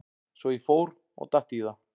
Svo ég fór og datt í það.